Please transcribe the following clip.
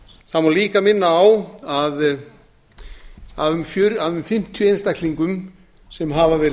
má líka minna á að um fimmtíu einstaklingum sem hafa verið